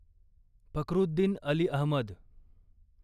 Fakhruddin Ali Ahmad